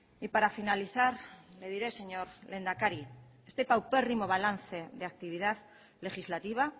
y para finalizar le diré señor lehendakari este paupérrimo balance de actividad legislativa